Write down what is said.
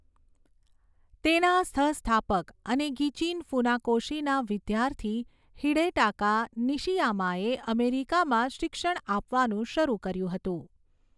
તેના સહ સ્થાપક અને ગિચિન ફુનાકોશીના વિદ્યાર્થી હિડેટાકા નિશિયામાએ અમેરિકામાં શિક્ષણ આપવાનું શરૂ કર્યું હતું.